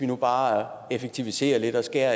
med bare at effektivisere lidt og skære